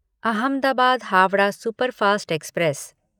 Ahmedabad Howrah superfast express